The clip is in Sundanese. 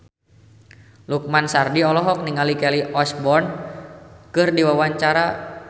Lukman Sardi olohok ningali Kelly Osbourne keur diwawancara